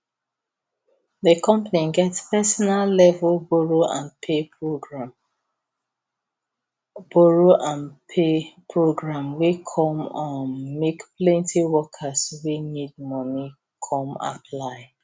the company get personal level borrow and pay program borrow and pay program wey come um make plenty workers wey need money come apply